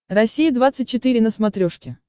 россия двадцать четыре на смотрешке